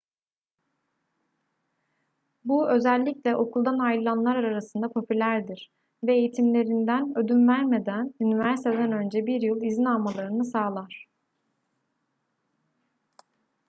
bu özellikle okuldan ayrılanlar arasında popülerdir ve eğitimlerinden ödün vermeden üniversiteden önce 1 yıl izin almalarını sağlar